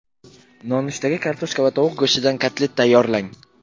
Nonushtaga kartoshka va tovuq go‘shtidan kotlet tayyorlang.